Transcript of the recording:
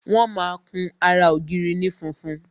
Wọn máa kun ara ògiri ní funfun